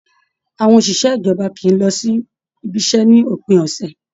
Àwọn òṣìṣẹ́ ìjọba kìí lọ sí ibiṣẹ́ ní òpin ọ̀sẹ̀